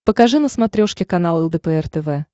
покажи на смотрешке канал лдпр тв